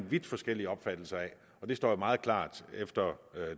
vidt forskellige opfattelser af og det står jo meget klart efter